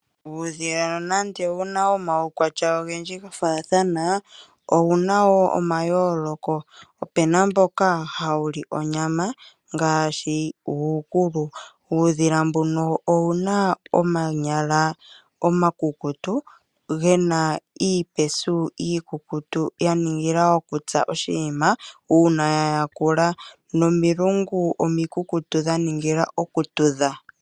Uudhila nande wuna omaukwatya ogendji ga faathana owuna woo omayooloko opena mboka hawu li onyama ngaashi uukulu .Uudhila mbuno owuna omanyala omakukutu gena iipanyala iikukutu ya ningila okutsa oshinima uuna ya yakula nomilungu omikukutu dha ningila okutudha.